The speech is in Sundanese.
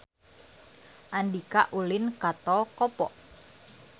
Andika ulin ka Tol Kopo